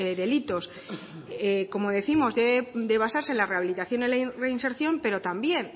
delitos como décimos debe de basarse en la rehabilitación y reinserción pero también